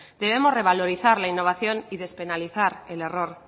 debemos revalorizar la innovación y despenalizar el error